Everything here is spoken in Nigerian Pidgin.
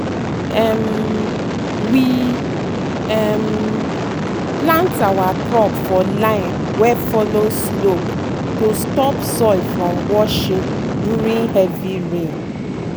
um we um plant our crop for line wey follow slope to stop soil from washing during heavy rain.